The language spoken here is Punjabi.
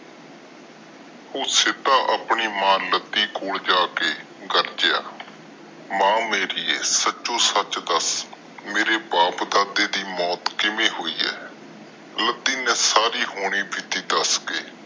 ਉਹ ਸਿੱਧਾ ਆਪਣੀ ਮਾਂ ਲਾਡੀ ਕੋਲ ਜਾ ਕੇ ਗਰਜਿਆ, ਮਾਂ ਮੇਰੀਏ ਸਚੋ ਸੱਚ ਦਸ ਮੇਰੇ ਬਾਪ ਦਾਦੇ ਦੀ ਮੌਤ ਕਿਵੇਂ ਹੋਈ ਆ ਲਾਡੀ ਨੇ ਸਾਰੀ ਹੋਣੀ ਬੀਤੀ ਦੱਸ ਕੇ